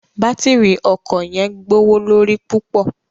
Batírí ọkọ yẹn gbowolori pupọ